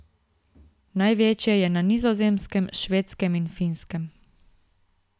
Največje je na Nizozemskem, Švedskem in Finskem.